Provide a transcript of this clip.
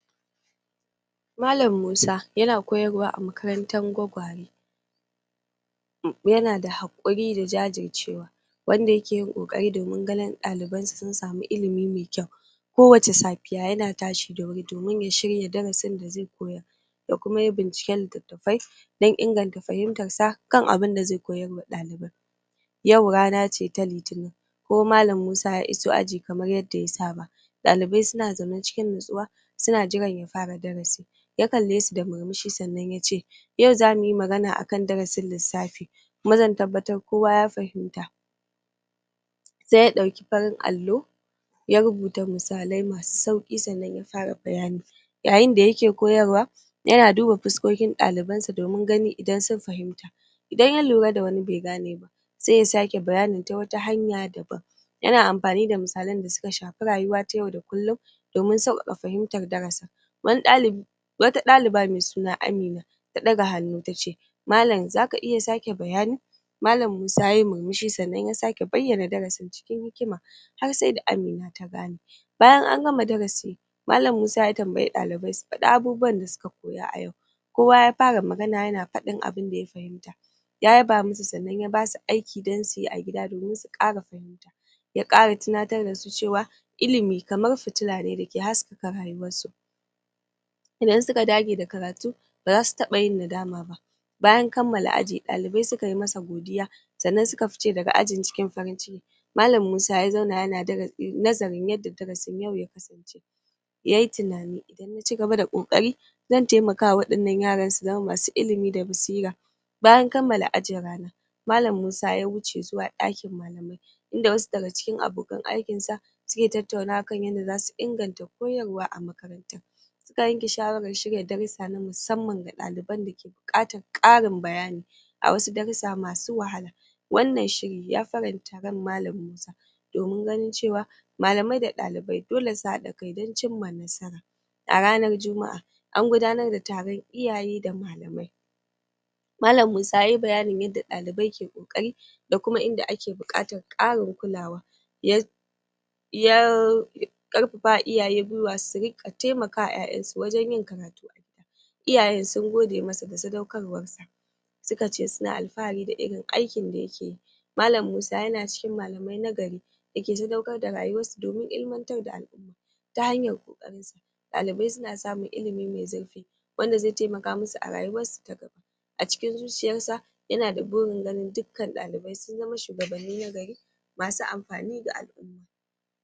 Malan musa yana koyarwa a makarantan gwagware yana da haƙuri da jajircewa wanda yake yin ƙoƙari domin ganin ɗalibansa sun sami ilimi mai kyau kowace sapiya yana tashi da wuri domin ya shirya darasin da zai koyar ya kuma yi binciken littattafai don inganta fahimtarsa kan abinda zai koyar wa ɗalibai yau rana ce ta litinin kuma malan musa ya iso aji kamar yadda ya saba ɗalibai suna zaune cikin natsuwa suna jiran ya fara darasi ya kalle su da murmushi sannan yace yau zamuyi magana akan darasin lissafi kuma zan tabbatar kowa ya fahimta sai ya ɗauki parin allo ya rubuta misalai masu sauƙi sannan ya fara bayani yayin da yake koyarwa yana duba puskokin ɗalibansa domin ganin idan sun fahimta idan ya lura da wani bai gane ba sai ya sake bayani ta wata hanya daban yana ampani da misalan da suka shapi rayuwa ta yau da kullun domin sauƙaƙa fahimtar darasin wata ɗaliba mai suna Amina ta ɗaga hannu tace malan zaka iya sake bayani malan musa yayi murmushi sannan ya sake bayyana darasin cikin hikima har sai da Amina ta gane bayan an gama darasi malan musa ya tambayi ɗalibai su faɗi abubuwan da suka koya a yau kowa ya fara magana yana faɗin abinda ya fahimta ya yaba musu sannan ya basu aiki don suyi a gida domin su ƙara fahimta ya ƙara tinatar dasu cewa ilimi kamar fitila ne dake haskaka rayuwarsu idan suka dage da karatu bazasu taba yin nadama ba bayan kammala aji ɗalibai suka yi masa godiya sannan suka fice daga ajin cikin farin ciki malan musa ya zauna yana nazarin yadda darasin yau ya kasance yayi tinani idan na cigaba da ƙoƙari zan taimaka wa waɗannan yaran su zama masu ilimi da basira bayan kammala ajin ranan malan musa ya wuce zuwa ɗakin malamai inda wasu daga cikin abokan aikinsa suke tattaunawa kan yadda zasu inganta koyarwa a makarantan suka yanke shawarar shirya darussa na musamman ga ɗaliban dake buƙatan ƙarin bayani a wasu darussa masu wahala wannan shiri ya faranta ran malan musa domin ganin cewa malamai da ɗalibai dole su haɗa kai don cimma nasara a ranar jumaʼa an gudanar da taron iyaye da malamai malan musa yayi bayanin yadda ɗalibai ke ƙoƙari da kuma inda ake buƙatan ƙarin kulawa ya ƙarpapa wa iyaye gwiwa su riƙa taimaka wa ƴaƴansu wajen yin karatu iyayen sun gode masa da sadaukarwarsa suka ce suna alfahari da irin aikin da yake yi malan musa yana cikin malamai na gari da ke sadaukar da rayuwarsu domin ilmantar da alʼuma ta hanyar ƙoƙarinsa ɗalibai suna samun ilimi mai zurfi wanda zai taimaka musu a rayuwarsu ta gaba a cikin zuciyarsa yana da burin ganin dukkan ɗalibai sun zama shugabanni na gari masu ampani ga alʼuma